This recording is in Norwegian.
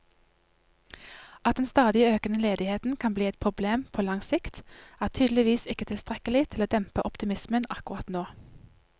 At den stadig økende ledigheten kan bli et problem på lang sikt, er tydeligvis ikke tilstrekkelig til å dempe optimismen akkurat nå.